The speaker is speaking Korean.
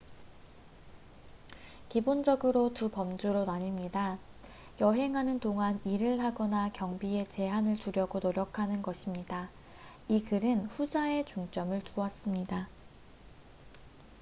기본적으로 두 범주로 나뉩니다 여행하는 동안 일을 하거나 경비에 제한을 두려고 노력하는 것입니다 이 글은 후자에 중점을 두었습니다